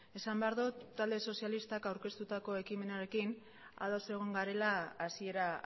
esan behar dut talde sozialistak aurkeztutako ekimenarekin ados egon garela hasiera